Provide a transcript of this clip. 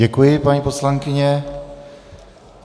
Děkuji, paní poslankyně.